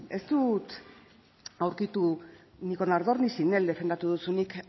ez dut aurkitu ni con ardor ni son el defendatu duzunik